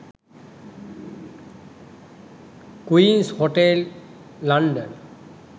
queens hotel london